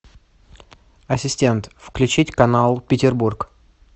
ассистент включить канал петербург